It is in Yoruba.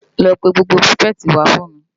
Lò pè gbógbó pirifèti wá fún mi